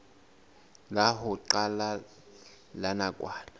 la ho qala la nakwana